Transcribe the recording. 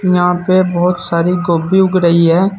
यहां पे बहुत सारी गोभी उग रही है।